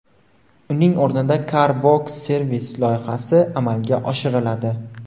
Uning o‘rnida Car Box Service loyihasi amalga oshiriladi.